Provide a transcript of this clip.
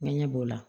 N ŋɲɛ b'o la